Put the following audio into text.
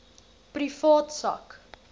privaat sak